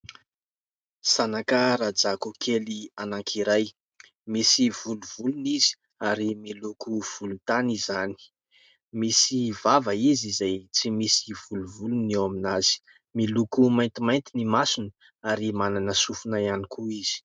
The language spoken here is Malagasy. Zanaka rajako kely anakiray. Misy volovolony izy. Ary miloko volontany izany. Misy vava izy izay tsy misy volovolony eo amin'azy. Miloko maintimainty ny masony. Ary manana sofina iany koa izy.